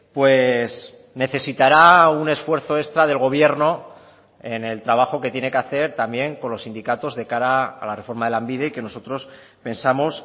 pues necesitará un esfuerzo extra del gobierno en el trabajo que tiene que hacer también con los sindicatos de cara a la reforma de lanbide y que nosotros pensamos